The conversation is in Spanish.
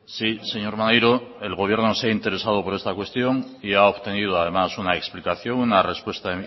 sí señor maneiro el gobierno se ha interesado por esta cuestión y ha obtenido además una explicación una respuesta